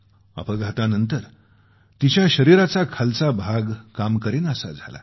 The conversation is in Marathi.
अपघातानंतर तिच्या शरीराचा अर्धा भाग काम करेनासा झाला